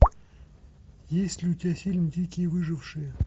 есть ли у тебя фильм дикие выжившие